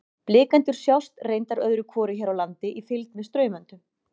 Blikendur sjást reyndar öðru hvoru hér á landi í fylgd með straumöndum.